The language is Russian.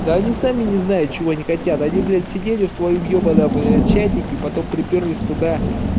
да они сами не знают чего они хотят они блядь сидели в своём ёбаном чатике потом припёрлись сюда